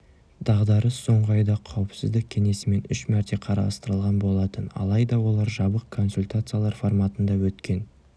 дағдарыс соңғы айда қауіпсіздік кеңесімен үш мәрте қарастырылған болатын алайда олар жабық консультациялар форматында өткен